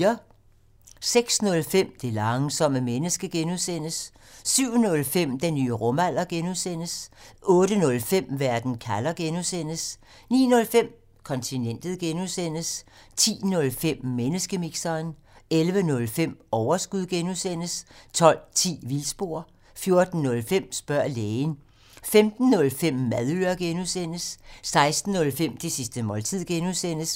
06:05: Det langsomme menneske (G) 07:05: Den nye rumalder (G) 08:05: Verden kalder (G) 09:05: Kontinentet (G) 10:05: Menneskemixeren 11:05: Overskud (G) 12:10: Vildspor 14:05: Spørg lægen 15:05: Madøre (G) 16:05: Det sidste måltid (G)